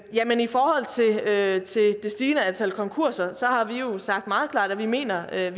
stigende antal konkurser har vi jo sagt meget klart at vi mener at